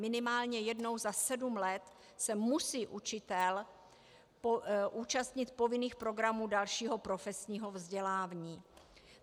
Minimálně jednou za sedm let se musí učitel účastnit povinných programů dalšího profesního vzdělání.